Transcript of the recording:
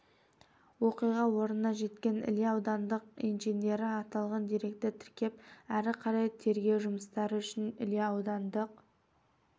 оқиға орнына жеткен іле аудандық инженері аталған деректі тіркеп әрі қарай тергеу жұмыстары үшін іле аудандық